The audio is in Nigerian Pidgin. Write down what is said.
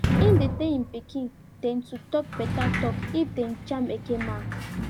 him dey tell him pikin dem to tok beta tok if dem jam eke men